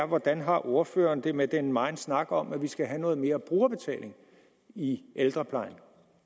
hvordan har ordføreren det med den megen snak om at vi skal have noget mere brugerbetaling i ældreplejen